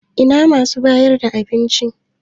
Ina masu bayar da abinci?